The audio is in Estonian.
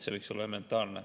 See võiks olla elementaarne.